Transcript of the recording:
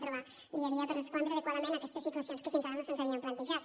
trobar dia a dia per respondre adequadament aquestes situacions que fins ara no se’ns havien plantejat